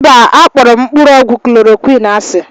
Mba, akpọrọ m mkpụrụ ọgwụ klọrọquin asị.